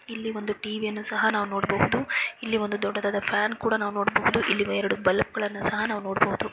ಇಲ್ಲಿಒಂದು TV ಯನ್ನು ಸಹ ನಾವು ನೋಡಬಹುದು . ಇಲ್ಲಿ ದೊಡ್ಡದಾದ ಫ್ಯಾನ್ ಕೂಡ ನೋಡಬಹುದು ಇಲ್ಲಿ ಎರಡ್ ಬಲ್ಬ್ ಸಹ ನಾವು ನೋಡಬಹುದು .